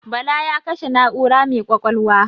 Bala ya kashe na'ura mai ƙwaƙwalwa.